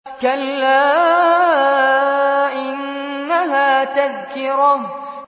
كَلَّا إِنَّهَا تَذْكِرَةٌ